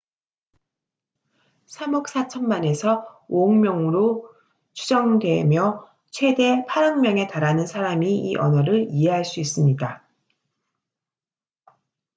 3억 4천만에서 5억 명으로 추정되며 최대 8억 명에 달하는 사람이 이 언어를 이해할 수 있습니다